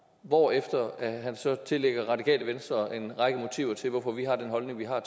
hvorefter han så tillægger radikale venstre en række motiver til hvorfor vi har den holdning vi har